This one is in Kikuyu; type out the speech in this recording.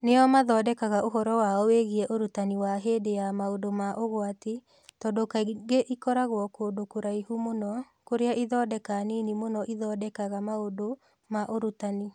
Nĩo mathondekaga ũhoro wao wiĩgiĩ ũrutani wa hĩndĩ ya maũndũ ma ũgwati tondũ kaingĩ ikoragwo kũndũ kũraihu mũno kũrĩa ithondeka nini mũno ithondekaga maũndũ ma ũrutani.